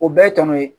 O bɛɛ ye tɔnɔ ye